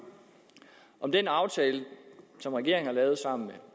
om den aftale som regeringen har lavet sammen med